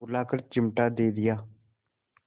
बुलाकर चिमटा दे दिया